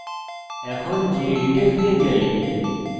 এখন gedit এ ফিরে যাই